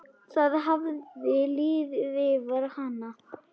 Það hafði liðið yfir hana!